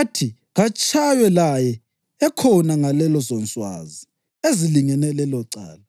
athi katshaywe laye ekhona ngalezonswazi ezilingene lelocala,